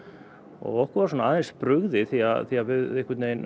og okkur varð aðeins brugðið því að því að við